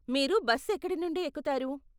మీరు బస్సు ఎక్కడి నుండి ఎక్కుతారు?